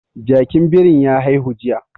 Jakin birin ya haihu jiya